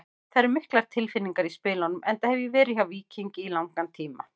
Það eru miklar tilfinningar í spilunum enda hef ég verið hjá Víkingi í langan tíma.